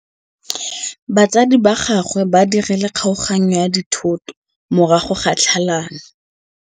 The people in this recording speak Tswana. Batsadi ba gagwe ba dirile kgaoganyô ya dithoto morago ga tlhalanô.